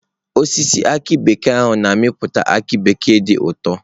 Osisi aki bekee a na-amịpụta aki bekee dị ụtọ.